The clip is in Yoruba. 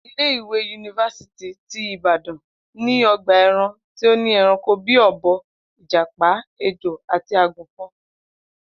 Ilé-ìwé yunifásítì ti Ìbàdàn ní o̩gbà e̩ran tí ó ní e̩ranko bí i ò̩bo̩, ìjàpá, ejò àti àgùnfo̩n